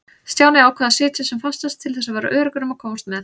Stjáni ákvað að sitja sem fastast til þess að vera öruggur um að komast með.